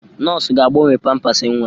Nọọsụ ga-agbanwe pampasị nwa.